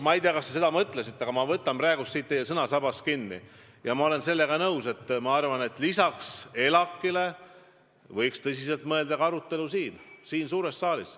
Ma ei tea, kas te seda mõtlesite, aga ma võtan teil sõnasabast kinni ja ütlen, et ma olen sellega nõus ja arvan, et lisaks ELAK-ile võiks tõsiselt mõelda arutelule siin suures saalis.